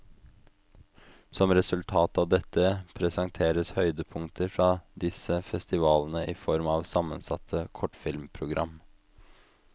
Som et resultat av dette, presenteres høydepunkter fra disse festivalene i form av sammensatte kortfilmprogram.